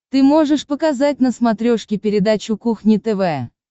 ты можешь показать на смотрешке передачу кухня тв